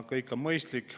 Kõik see on mõistlik.